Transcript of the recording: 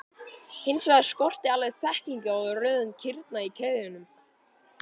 Hins vegar skorti alveg þekkingu á röðun kirna í keðjunum.